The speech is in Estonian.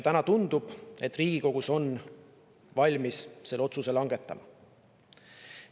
Täna tundub, et Riigikogu on valmis selle otsuse langetama.